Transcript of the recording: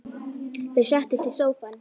Þau settust í sófann.